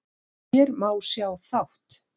Hér má sjá þátt